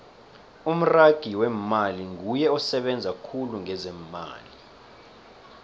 umragi wemmali nguye osebenza khulu ngezeemali